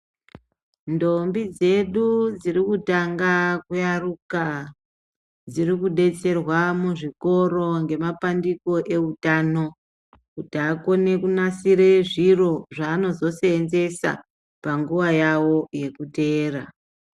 Ntombi dzedu dziri kutanga kuyaruka dziri kudetserwa muzvikoro ngemapandiko eutano kuti vakone kunasire zviro zvavanozoseenzesa panguwa yawo yekuteera.